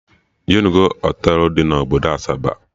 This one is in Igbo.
Ijenugo Họtelụ dị na obodo Asaba?